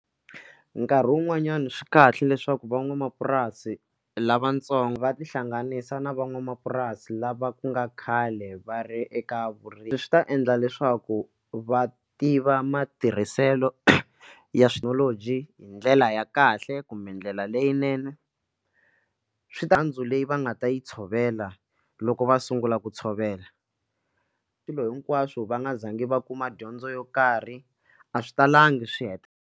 Nkarhi wun'wanyani swi kahle leswaku van'wamapurasi lavatsongo va tihlanganisa na van'wamapurasi lava ku nga khale va ri eka vurimi swi ta endla leswaku va tiva matirhiselo ya thekinoloji hi ndlela ya kahle kumbe ndlela leyinene switandzhaku leyi va nga ta yi tshovela loko va sungula ku tshovela swilo hinkwaswo va nga zangi va kuma dyondzo yo karhi a swi talangi swi heta.